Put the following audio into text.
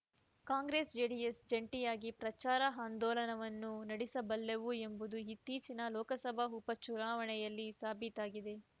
ಕಾಂಗ್ರೆಸ್‌ಜೆಡಿಎಸ್‌ ಜಂಟಿಯಾಗಿ ಪ್ರಚಾರಾಂದೋಲನವನ್ನು ನಡೆಸಬಲ್ಲವು ಎಂಬುದು ಇತ್ತೀಚಿನ ಲೋಕಸಭಾ ಉಪ ಚುನಾವಣೆಯಲ್ಲಿ ಸಾಬೀತಾಗಿದೆ